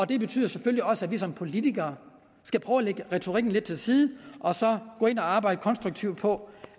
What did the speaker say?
det betyder selvfølgelig også at vi som politikere skal prøve at lægge retorikken lidt til side og så gå ind og arbejde konstruktivt på